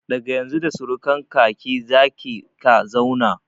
Daga Yanzu da surukan ka/ki za ke/ka zauna